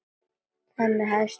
Þannig hefst minn bati.